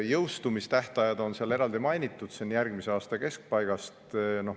Jõustumistähtajad on seal eraldi mainitud, need on järgmise aasta keskpaigast.